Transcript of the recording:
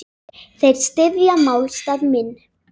Þeir styðja málstað minn.